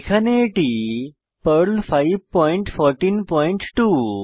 এখানে এটি পর্ল 5142